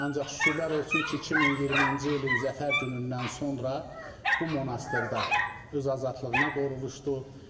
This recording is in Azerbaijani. Ancaq şükürlər olsun ki, 2020-ci ilin zəfər günündən sonra bu monastırda öz azadlığına qovuşdu.